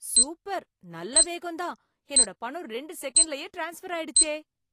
Super. நல்ல வேகம்தான். என்னோட பணம் ரெண்டு செகண்ட்லயே ட்ரான்ஸ்ஃபர் ஆயிடுச்சே.